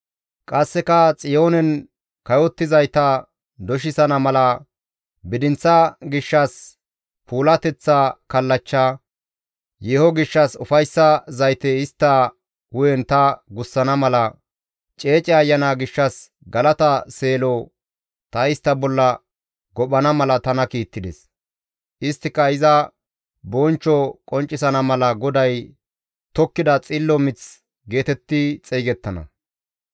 Qasseka Xiyoonen kayottizayta doshisana mala, bidinththa gishshas puulateththa kallachcha; yeeho gishshas ufayssa zayte istta hu7en ta gussana mala, ceece ayana gishshas galata seelo ta istta bolla gophana mala tana kiittides; isttika iza bonchcho qonccisana mala GODAY tokkida xillo mith geetetti xeygettana.